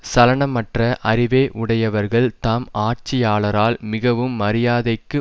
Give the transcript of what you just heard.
சலனம் அற்ற அறிவை உடையவர்கள் தாம் ஆட்சியாளரால் மிகவும் மரியாதைக்கு